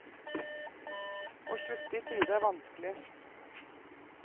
Å slutte i tide er vanskelig.